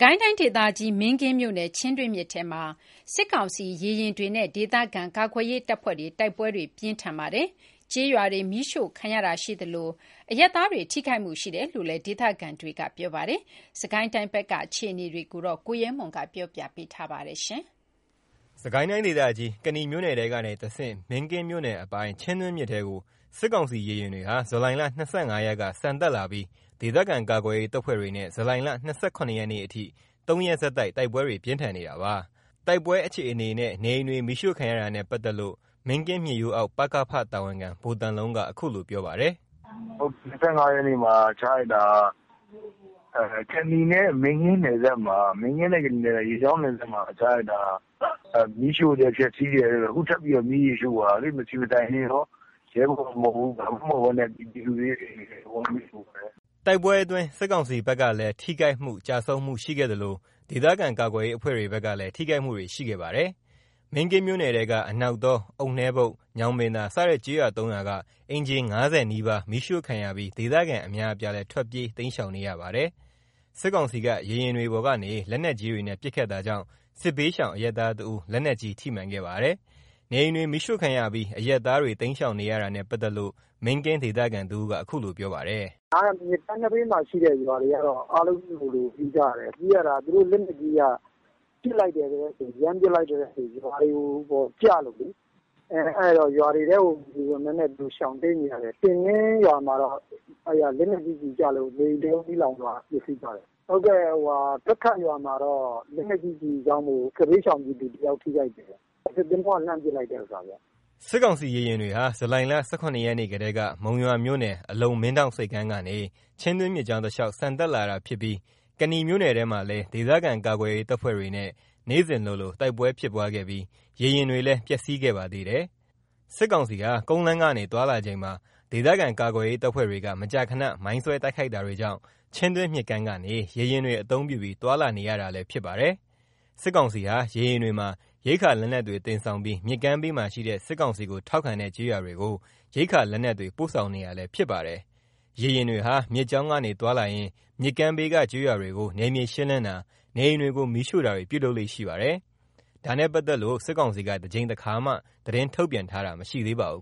ကိုင်းတိုင်းဒေသကြီး မင်းကင်းမြို့နယ် ချင်းတွင်းမြစ်ထဲမှာ စစ်ကောင်စီရေယာဉ်တွေနဲ့ဒေသခံကာကွယ်ရေး တပ်ဖွဲ့တွေ တိုက်ပွဲတွေ ပြင်းထန်နေပါတယ်။ ကျေးရွာတွေမီးရှို့ခံရတာရှိသလို အရပ်သားတွေထိခိုက်မှုရှိတယ်လို့ ဒေသခံတွေက ပြောပါတယ်။ စစ်ကိုင်းတိုင်းက အခြေအနေတွေ ကိုရဲမွန် ကပြောပြပါမယ်။ စစ်ကိုင်းတိုင်းဒေသကြီး ကနီမြို့နယ်ထဲကနေတဆင့် မင်းကင်းမြို့နယ်အပိုင် ချင်းတွင်းမြစ်ထဲကို စစ်ကောင်စီ ရေယာဉ်တွေဟာ ဇူလိုင် ၂၅ ရက်က ဆန်တက်လာပြီး ဒေသခံကာကွယ်ရေး တပ်ဖွဲ့တွေနဲ့ ဇူလိုင် ၂၇ ရက်အထိ ၃ ရက်ဆက်တိုက် တိုက်ပွဲတွေပြင်းထန်နေတာပါ။ တိုက်ပွဲအခြေအနေနဲ့ နေအိမ်တွေမီးရှို့ခံရတာနဲ့ပတ်သက်လို့ မင်းကင်းမြစ်ရိုးအောက် ပြည်သူ့ကာကွယ်ရေးအဖွဲ့ တာဝန်ခံ ဗိုလ်သံလုံးက အခုလိုပြောပါတယ်။ “၂၅ ရက်နေ့ကတည်းက ချလိုက်တာ ကနီနဲ့မင်းကင်းရေကြောင်းနယ်စပ်မှာချလိုက်တာ မီးရှို့တယ်ဖျက်ဆီးတယ်။ အခုထပ်ပြီး မီးရှို့သွားတယ်။ မဆီမဆိုင်ရဲဘော်မဟုတ်ဘူး ဘာမဟုတ်ဘူး၊ ပြည်သူတွေရဲ့အိမ်တွေကိုမီးရှို့သွားတယ်။” တိုက်ပွဲအတွင်း စစ်ကောင်စီဘက်ကလည်း ထိခိုက်မှုကျဆုံးမှုရှိခဲ့သလို ဒေသခံကာကွယ်ရေးအဖွဲ့တွေဘက်ကလည်း ထိခိုက်မှုတွေရှိခဲ့ပါတယ်။ မင်းကင်းမြို့နယ်ထဲက အနောက်တော၊ အုတ်နှဲဘုတ်၊ ညောင်ပင်သာ စတဲ့ ကျေးရွာ ၃ ရွာက အိမ်ခြေ ၅၀ နီးပါး မီးရှို့ခံရပြီး ဒေသခံအများအပြားလည်း ထွက်ပြေးတိမ်းရှောင်နေရပါတယ်။ စစ်ကောင်စီက ရေယာဉ်တွေပေါ်ကနေ လက်နက်ကြီးတွေနဲ့ ပစ်ခတ်တာကြောင့် စစ်ဘေးရှောင် အရပ်သားတဦး လက်နက်ကြီးထိမှန်ခဲ့ပါတယ်။ နေအိမ်တွေမီးရှို့ခံရပြီး အရပ်သားတွေ တိမ်းရှောင်နေရတာနဲ့ ပတ်သက်လို့ မင်းကင်းဒေသခံတဦးက အခုလိုပြောပါတယ်။ “မြစ်ကမ်းနဘေးမှာရှိတဲ့ရွာတွေကတော့ ပြည်သူတွေအားလုံးပြေးကြရတယ်။ သူတို့လက်နက်ကြီးက ရမ်းပစ်လိုက်တဲ့အချိန် ရွာတွေထဲကျလို့လေ။ အဲ့တော့ရွာတွေထဲကနေ ရှောင်တိမ်းနေကြရတယ်။ တင်ပင်းရွာမှာတော့ အဲ့မှာလက်နက်ကြီးကျည်ကျလို့ နေအိမ်တလုံးမီးလောင်သွားတယ်။ ဖက်ခတ်ရွာမှာတော့ လက်နက်ကြီးကျလို့ စစ်ဘေးရှောင်တဦးထိခိုက်တယ်။” စစ်ကောင်စီရေယာဉ်တွေဟာ ဇူလိုင် ၁၇ ရက်ကတည်းက မုံရွာမြို့နယ် အလုံမင်းဒေါင့်ဆိပ်ကမ်းကနေ ချင်းတွင်းမြစ်ကြောင်းတလျှောက် ဆန်တက်လာတာဖြစ်ပြီး ကနီမြို့နယ်ထဲမှာလည်း ဒေသခံကာကွယ်ရေး တပ်ဖွဲ့တွေနဲ့ နေ့စဉ်လိုလို တိုက်ပွဲဖြစ်ပွားခဲ့ပြီး ရေယာဉ်တွေလည်း ပျက်စီးခဲ့ပါသေးတယ်။ စစ်ကောင်စီဟာ ကုန်လမ်းကနေ သွားလာချိန်မှာ ဒေသခံကာကွယ်ရေး တပ်ဖွဲ့တွေက မကြာခဏ မိုင်းဆွဲတိုက်ခိုက်တာကြောင့် ချင်းတွင်းမြစ်ကမ်းကနေ ရေယာဉ်တွေအသုံးပြုပြီး သွားလာနေရတာလည်း ဖြစ်ပါတယ်။ စစ်ကောင်စီဟာ ရေယာဉ်တွေမှာ ရိက္ခာလက်နက်တွေ တင်ဆောင်ပြီး မြစ်ကမ်းဘေးမှာရှိတဲ့ စစ်ကောင်စီကို ထောက်ခံတဲ့ ကျေးရွာတွေကို ရိက္ခာလက်နက်တွေပို့ဆောင်နေတာလည်းဖြစ်ပါတယ်။ ရေယာဉ်တွေဟာ မြစ်ကြောင်းကနေ သွားလာရင်း မြစ်ကမ်းဘေးက ကျေးရွာတွေကို နယ်မြေရှင်းလင်းတာ နေအိမ်တွေကို မီးရှို့တာတွေ ပြုလုပ်လေ့ရှိပါတယ်။ ဒါနဲ့ပတ်သက်လို့ စစ်ကောင်စီက တကြိမ်တခါမှ သတင်းထုတ်ပြန်တာမရှိသေးပါဘူ